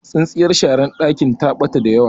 tsintsiyar shara dakin ta bata da yawa